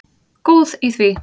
Góð í því!